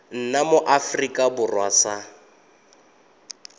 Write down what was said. nna mo aforika borwa sa